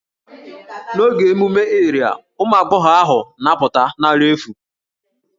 N'oge emume Iria, ụmụ agbọghọ ahụ na-apụta na àrà efu